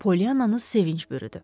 Polyananı sevinc bürüdü.